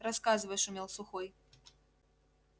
рассказывай шумел сухой